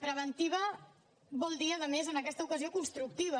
preventiva vol dir a més en aquesta ocasió constructiva